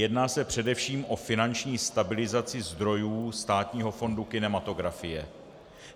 Jedná se především o finanční stabilizaci zdrojů Státního fondu kinematografie.